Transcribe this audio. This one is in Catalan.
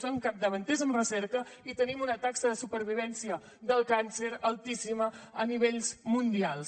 som capdavanters en recerca i tenim una taxa de supervivència del càncer altíssima a nivells mundials